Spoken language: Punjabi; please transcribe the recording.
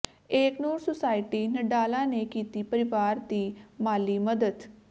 ਏਕ ਨੂਰ ਸੁਸਾਇਟੀ ਨਡਾਲਾ ਨੇ ਕੀਤੀ ਪਰਿਵਾਰ ਦੀ ਮਾਲੀ ਮਦਦ